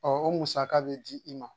o musaka bɛ di i ma